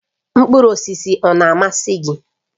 Mkpụrụ osisi ọ na-amasị gị?